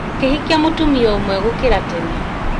makĩhikia mũtumia ũmwe gũkĩra tene